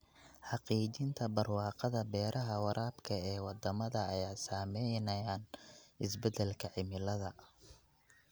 Xaqiijinta barwaaqada beeraha waraabka ee wadamada ay saameeyeen isbedelka cimilada.